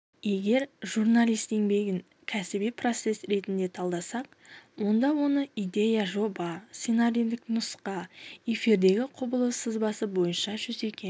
егер журналист еңбегін кәсіби процесс ретінде талдасақ онда оны идея жоба сценарийлік нұсқа эфирдегі құбылыс сызбасы бойынша жүзеге